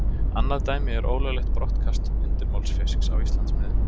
Annað dæmi er ólöglegt brottkast undirmálsfisks á Íslandsmiðum.